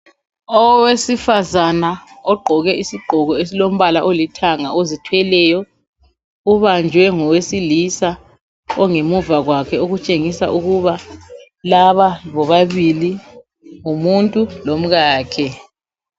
Owesifazana ogqoke isigqoko esilombala olithanga ozithweleyo ubanjwe ngowesilisa ongemuva kwakhe, okutshengisa ukuba laba bobabili ngumuntu lomkakhe.